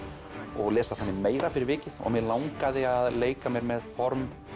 og lesa þannig meira fyrir vikið og mig langaði að leika mér með form